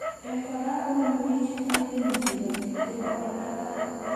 En kora koname pik chetinye kenyisiek ap 20 agoi 40.